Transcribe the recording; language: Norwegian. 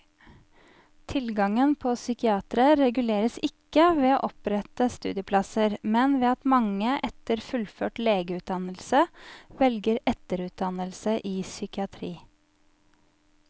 Tilgangen på psykiatere reguleres ikke ved å opprette studieplasser, men ved at mange etter fullført legeutdannelse velger etterutdannelse i psykiatri.